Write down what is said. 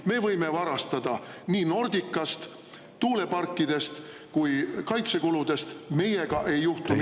Me võime varastada nii Nordicast, tuuleparkidest kui ka kaitsekuludest, meiega ei juhtu midagi.